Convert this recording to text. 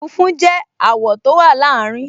Funfun jẹ́ àwọ̀ tó wà láàrin